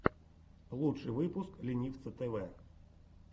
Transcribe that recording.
лучший выпуск ленивца тэвэ